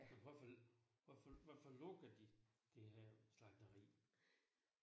Men hvorfor hvorfor hvorfor lukker de det herr slagteri?